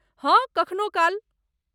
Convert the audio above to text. हँ, कखनो काल।